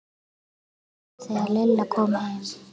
spurði amma þegar Lilla kom heim.